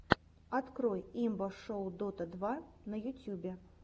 открой имба шоу дота два на ютюбе